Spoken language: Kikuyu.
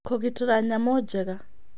Kũgitĩra Nyamũ Njega